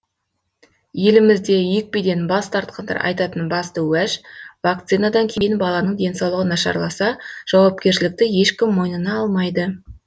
елімізде екпеден бас тартқандар айтатын басты уәж вакцинадан кейін баланың денсаулығы нашарласа жауапкершілікті ешкім мойнына алмайды